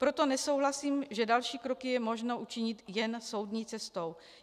Proto nesouhlasím, že další kroky je možno učinit jen soudní cestou.